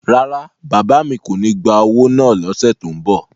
Rárá, bàbá mi kò ní gba owó náà l'ọ́ṣẹ́ tó n bọ̀